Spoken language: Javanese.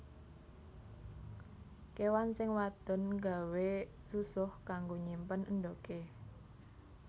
Kéwan sing wadon nggawé susuh kanggo nyimpen endhogé